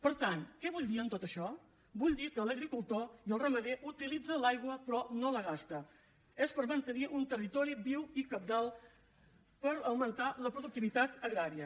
per tant què vull dir amb tot això vull dir que l’agricultor i el ramader utilitzen l’aigua però no la gasta és per mantenir un territori viu i cabdal per augmentar la productivitat agrària